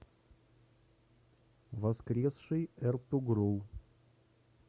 воскресший эртугрул